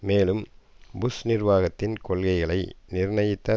மேலும் புஷ் நிர்வாகத்தின் கொள்கைகளை நிர்ணயித்த